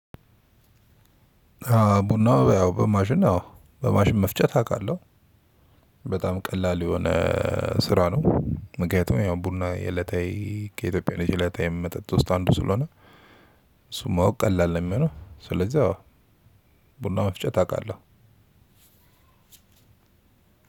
ቡና ያው በማሽን አዎ ቡና በማሸን መፍጨት አውቃለሁ በጣም ቀላል የሆነ ስራ ነው። ምክንያቱም ያው ቡና የዕለታዊ ከኢትዮጵያ ልጅ የዕለታዊ መጠጥ ውስጥ አንዱ ስለሆነ። እሱን ማወቅ ቀላል ነው የሚሆነው። ስለዚህ አዎ። ቡና መፍጨት አውቃለሁ።